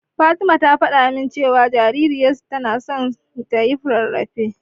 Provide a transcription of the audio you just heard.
Fatima ta faɗa min cewa jaririyarta tana so tayi rarrafe.